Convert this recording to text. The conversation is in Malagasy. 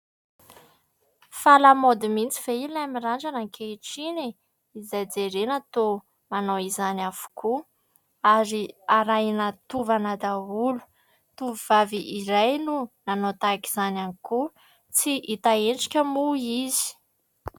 Fa lamaody mihitsy ve ilay mirandrana ankehitriny e ? Izay jerena toa manao izany avokoa ary arahina tovana daholo. Tovovavy iray no nanao tahaka izany ihany koa, tsy hita endrika moa izy.